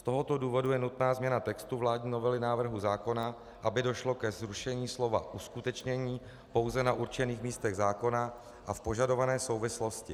Z tohoto důvodu je nutná změna textu vládní novely návrhu zákona, aby došlo ke zrušení slova uskutečnění pouze na určených místech zákona a v požadované souvislosti.